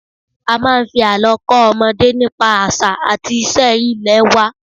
A máa ń fi àlọ́ kọ́ ọmọdé nípa àṣà àti iṣẹ́ ilẹ̀ wa